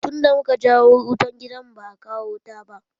Tun da muka jawo wutan gidan mu, ba a kawo wuta ba.